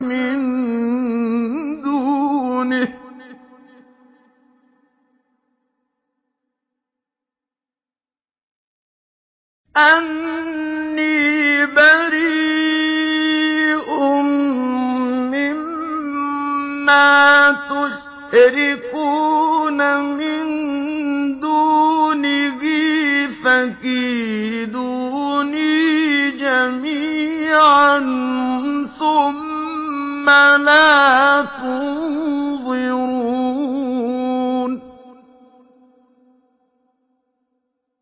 مِن دُونِهِ ۖ فَكِيدُونِي جَمِيعًا ثُمَّ لَا تُنظِرُونِ